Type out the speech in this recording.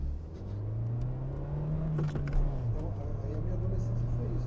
Tá. Então, aí aí a minha adolescência foi isso.